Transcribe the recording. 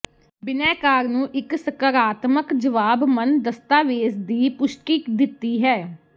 ਬਿਨੈਕਾਰ ਨੂੰ ਇੱਕ ਸਕਾਰਾਤਮਕ ਜਵਾਬ ਮੰਨ ਦਸਤਾਵੇਜ਼ ਦੀ ਪੁਸ਼ਟੀ ਦਿੱਤੀ ਹੈ